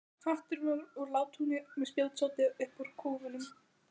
Hatturinn var úr látúni og með spjótsoddi upp úr kúfnum.